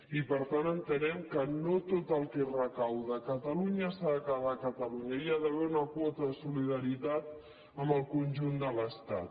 i per tant entenem que no tot el que es recapta a catalunya s’ha de quedar a catalunya hi ha d’haver una quota de solida·ritat amb el conjunt de l’estat